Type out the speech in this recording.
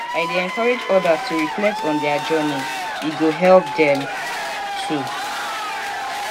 i dey encourage others to reflect on their journey; e go help dem too.